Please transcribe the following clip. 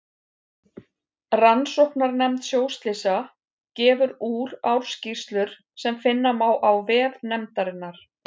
Rannsóknarnefnd sjóslysa gefur úr ársskýrslur sem finna má á vef nefndarinnar.